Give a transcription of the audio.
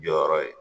Jɔyɔrɔ ye